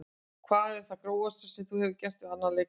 Hvað er það grófasta sem þú hefur gert við annan leikmann?